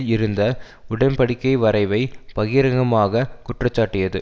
இருந்த உடன் படிக்கை வரைவை பகிரங்கமாக குற்றஞ்சாட்டியது